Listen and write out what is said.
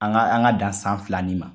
An ka an ka dan san fila nin ma.